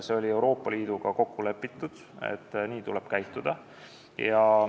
See oli Euroopa Liiduga kokku lepitud, et nii tuleb käituda.